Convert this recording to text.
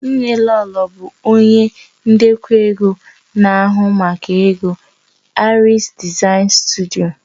Nnelolo bụ onye ndekọ ego na-ahụ maka ego Aries Design Studio